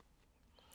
DR1